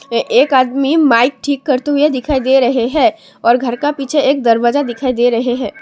एक आदमी माइक ठीक करते हुए दिखाई दे रहे है और घर का पीछे एक दरवाजा दिखाई दे रहे है।